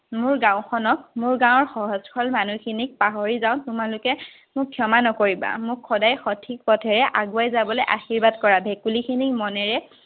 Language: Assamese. মোৰ গাঁওখনক মোৰ গাঁৱৰ সহজ-সৰল মানুহখিনিক পাহৰি যাওঁ, তোমালোকে মোক ক্ষমা নকৰিবা, মোক সদয় সঠিক পথেৰে আগুৱাই যাবলে আশিৰ্বাদ কৰা। ভেকুলীখিনিক মনেৰে